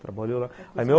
Trabalhou lá